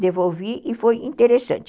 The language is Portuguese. devolvi e foi interessante.